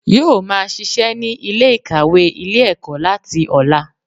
Yóò máa sisẹ́ ní Ilé ìkàwé Ilé ẹ̀kọ́ láti ọ̀la